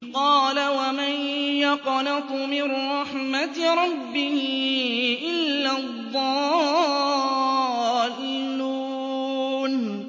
قَالَ وَمَن يَقْنَطُ مِن رَّحْمَةِ رَبِّهِ إِلَّا الضَّالُّونَ